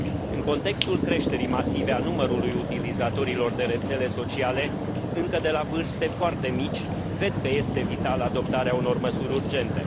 În contextul creșterii masive a numărului utilizatorilor de rețele sociale, încă de la vârste foarte mici, cred că este vitală adoptarea unor măsuri urgente.